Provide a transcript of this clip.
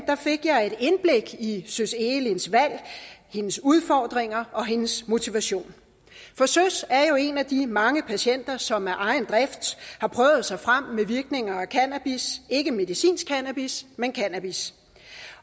fik jeg et indblik i søs egelinds valg hendes udfordringer og hendes motivation for søs er jo en af de mange patienter som af egen drift har prøvet sig frem med virkninger af cannabis ikke medicinsk cannabis men cannabis